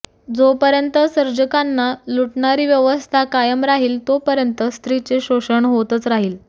जोपर्यंत सर्जकाना लुटणारी व्यवस्था कायम राहील तोपर्यंत स्त्रीचे शोषण होत राहील